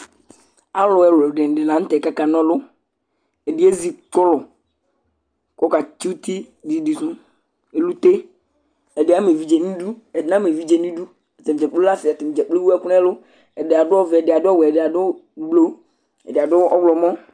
Alu ɛlu di ni la nu tɛ ku aka na ɔlu, ɛdini edzi kɔlu, ku ɔka tsi uti didi su, elute, ɛdini ama evidze nu idu ɛdini na ma evidze nu idu, ata dza kplo lɛ asi , ata dza kplo ewʋ ɛku nu ɛlu, ɛdi adu ɔvɛ, ɛdi adu ɔwɛ, ɛdi adu ublu, ɛdi adu ɔwlumɔ